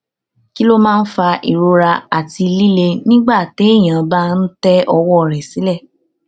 kí ló máa ń fa ìrora àti lilè nígbà téèyàn bá ń tẹ ọwọ rẹ sile